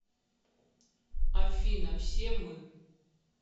афина все мы